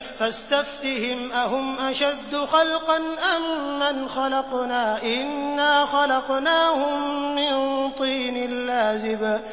فَاسْتَفْتِهِمْ أَهُمْ أَشَدُّ خَلْقًا أَم مَّنْ خَلَقْنَا ۚ إِنَّا خَلَقْنَاهُم مِّن طِينٍ لَّازِبٍ